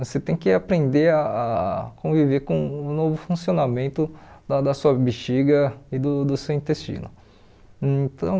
Você tem que aprender a conviver com o novo funcionamento da da sua bexiga e do do seu intestino. Então